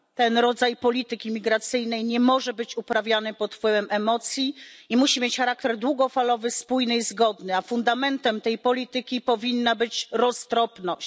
Ten rodzaj polityki migracyjnej nie może być uprawiany pod wpływem emocji i musi mieć charakter długofalowy, spójny i zgodny, a fundamentem tej polityki powinna być roztropność.